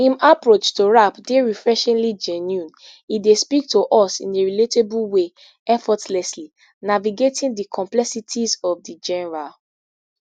im approach to rap dey refreshingly genuine e dey speak to us in a relatable way effortlessly navigating di complexities of di genre